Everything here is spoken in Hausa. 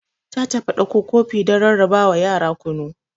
Ta tafi dakko kofi don ra rarrabawa yara kunu.